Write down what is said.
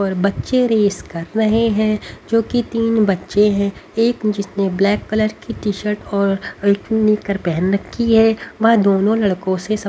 और बच्चे रेस कर रहे हैं जो कि तीन बच्चे हैं एक जिसने ब्लैक कलर की टीशर्ट और हल्की निक्कर पेहेन रखी है वह दोनों लड़कों से सब--